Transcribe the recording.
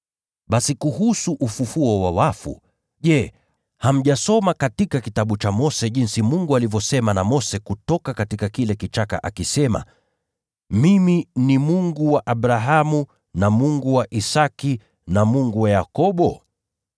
Basi kuhusu wafu kufufuliwa, je hamjasoma katika Kitabu cha Mose jinsi Mungu alivyosema na Mose kutoka kile kichaka akisema, ‘Mimi ni Mungu wa Abrahamu, na Mungu wa Isaki, na Mungu wa Yakobo?’